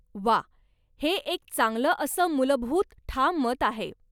वाह, हे एक चांगलं असं मुलभूत ठाम मत आहे.